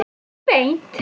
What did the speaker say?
Ekki beint